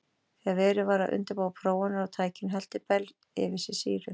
Þegar verið var að undirbúa prófanir á tækinu hellti Bell yfir sig sýru.